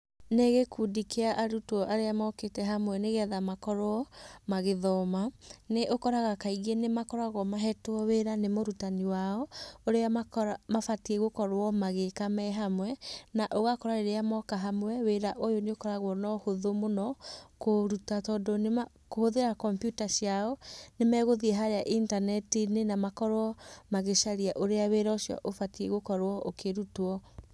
Nĩ gĩkundi kĩa arutwo arĩa mokĩte hamwe nĩ getha makorwo magĩthoma. Nĩ ũkoraga kaingĩ nĩ makoragwo mahetwo wĩra nĩ mũrutani wao, ũrĩa makoragwo mabatiĩ gũkorwo magĩĩka me hamwe, na ũgakora rĩrĩa moka hamwe wĩra ũyũ nĩ ũkũragwo na ũhũthũ mũno kũũruta tondũ nĩmakũhũthĩra kompiuta ciao, nĩ megũthiĩ harĩa intaneti-inĩ na makorwo magĩcaria ũrĩa wĩra ũcio ũbatiĩ gũkorwo ũkĩrutwo.